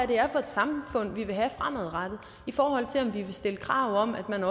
det er for et samfund vi vil have fremadrettet i forhold til om vi vil stille krav om at man